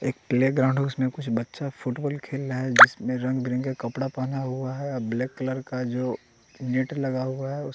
एक प्लेग्राउंड है उसमें कुछ बच्चा फुटबॉल खेल रहा है जिसमें रंग बीरंग का कपड़ा पहना हुआ है ब्लैक कलर का जो नेट बना हुआ है उस--